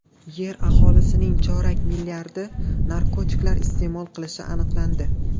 Yer aholisining chorak milliardi narkotiklar iste’mol qilishi aniqlandi.